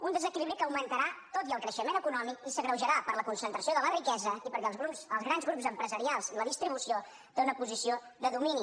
un desequilibri que augmentarà tot i el creixement econòmic i s’agreujarà per la concentració de la riquesa i perquè als grans grups empresarials la distribució té una posició de domini